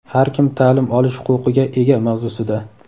Har kim ta’lim olish huquqiga ega mavzusida.